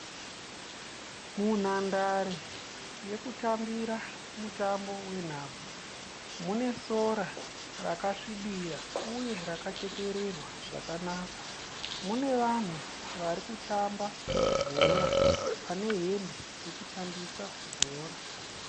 Munhandare yekutambira mutambo wenhabvu. Munesora rakasvibira uye rakachekererwa zvakanaka. Mune vanhu varikutamba bhora, vane hembe dzekutambisa bhora.